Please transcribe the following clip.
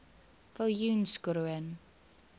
viljoenskroon